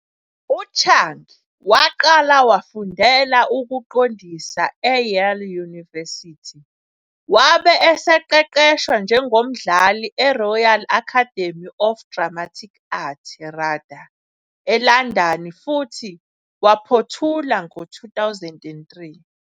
UChung waqala wafundela ukuqondisa eYale University, wabe eseqeqeshwa njengomdlali eRoyal Academy of Dramatic Art, RADA, eLondon futhi waphothula ngo-2003.